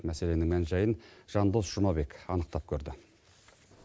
мәселенің мән жайын жандос жұмабек анықтап көрді